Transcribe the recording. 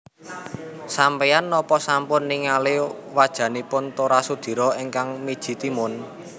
Sampean nopo sampun ningali wajanipun Tora Sudiro ingkang miji timun